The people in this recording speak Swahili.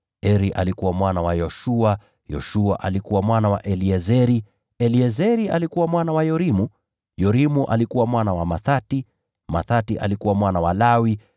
Eri alikuwa mwana wa Yoshua, Yoshua alikuwa mwana wa Eliezeri, Eliezeri alikuwa mwana wa Yorimu, Yorimu alikuwa mwana wa Mathati, Mathati alikuwa mwana wa Lawi,